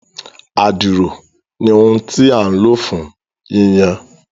Àdìrò ní ohùn tí a lo fún yíyan